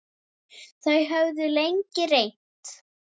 Þau höfðu lengi reynt.